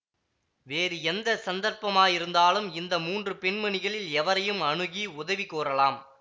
வேறு எந்த சந்தர்ப்பமாயிருந்தாலும் இந்த மூன்று பெண்மணிகளில் எவரையும் அணுகி உதவி கோரலாம்